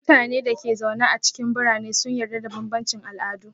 Mutanen da ke zaune a cikin birane sun yarda da bambancin al'adu.